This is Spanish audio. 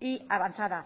y avanzada